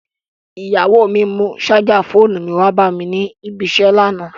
Ìyàwó mi mú ṣájà fóònù mi wá bá mi ní ibi-iṣẹ́ lánàá.